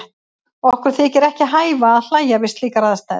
Okkur þykir ekki hæfa að hlæja við slíkar aðstæður.